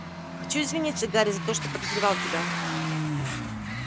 хочу извиниться гарри за то что подозревал тебя